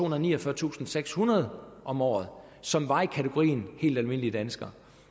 niogfyrretusindsekshundrede om året som var i kategorien helt almindelige danskere